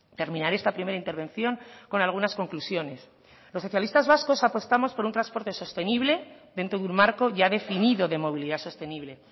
terminaré esta primera intervención con algunas conclusiones los socialistas vascos apostamos por un transporte sostenible dentro de un marco ya definido de movilidad sostenible